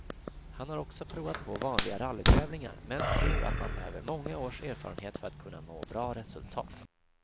Han har också provat på vanliga rallytävlingar, men tror att man behöver många års erfarenhet för att kunna nå bra resultat.